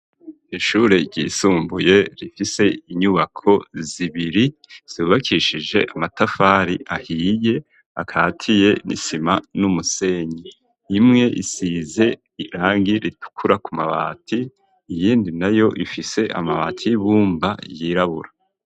Ishuri ryisumbuye rifise inyubako zibiri zubakishije amatafari ahiye akatiye n'isima n'umusenyi imwe isize irangi ritukura ku mabati iyindi nayo ifise amabati y'ibumba yirabura.